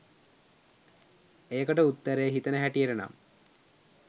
ඒකට උත්තරේ හිතෙන හැටියට නම්